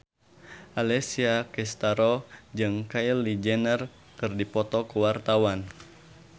Alessia Cestaro jeung Kylie Jenner keur dipoto ku wartawan